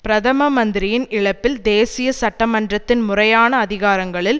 பிரதம மந்தரியின் இழப்பில் தேசிய சட்டமன்றத்தின் முறையான அதிகாரங்களில்